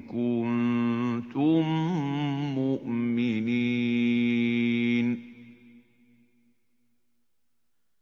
كُنتُم مُّؤْمِنِينَ